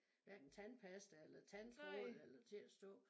Hverken tandpasta eller tandtråd eller til at stå